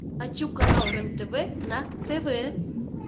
хочу канал рен тв на тв